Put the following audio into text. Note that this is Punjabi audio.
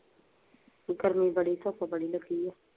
ਗਰਮੀ ਬੜੀ, ਧੁੱਪ ਬੜੀ ਲੱਗੀ ਏ।